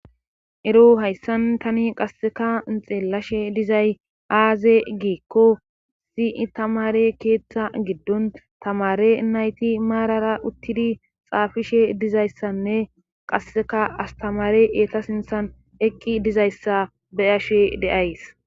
ero hayssan tani qasseka inxeelashe dizay aaze geekko sii tamare keetta giddon tamare nayti maarara uttidi xaafishe dizayssanne qasseka astamare eeta sinthan eqqi dizayssa beyashe deays